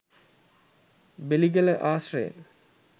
බෙලිගල ආශ්‍රයෙන්